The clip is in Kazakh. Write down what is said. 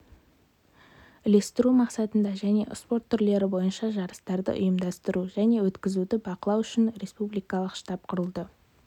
үлестіру мақсатында және спорт түрлері бойынша жарыстарды ұйымдастыру және өтізуді бақылау үшін республикалық штаб құрылды